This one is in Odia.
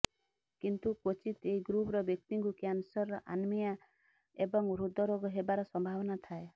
କିନ୍ତୁ କ୍ବଚିତ୍ ଏହି ଗ୍ରୃପର ବ୍ୟକ୍ତିଙ୍କୁ କ୍ୟାନସର ଆନିମିଆ ଏବଂ ହୃଦ ରୋଗ ହେବାର ସମ୍ଭାବନା ଥାଏ